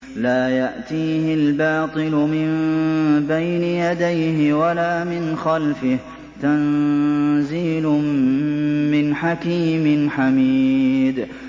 لَّا يَأْتِيهِ الْبَاطِلُ مِن بَيْنِ يَدَيْهِ وَلَا مِنْ خَلْفِهِ ۖ تَنزِيلٌ مِّنْ حَكِيمٍ حَمِيدٍ